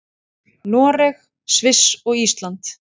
Noreg, Sviss og Ísland.